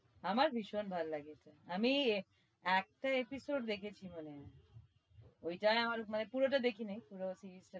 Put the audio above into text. আমার ভীষণ ভালো লাগে আমিই একটা episode দেখেছি মনে হয় ওইটাই আমার মানে পুরোটাই দেখিনি পুরো series টা